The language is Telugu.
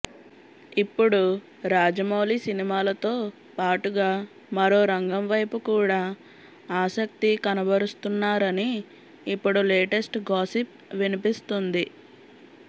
ఇప్పుడు రాజమౌళి సినిమాలతో పాటుగా మరో రంగం వైపు కూడా ఆసక్తి కనబరుస్తున్నారని ఇప్పుడు లేటెస్ట్ గాసిప్ వినిపిస్తుంది